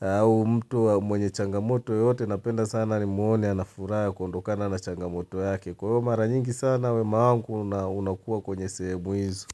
Au mtu mwenye changamoto yoyote napenda sana nimuone ana furaha kuondokana na changamoto yake. Kwa hivyo mara nyingi sana wema wangu unakua kwenye sehemu hizo.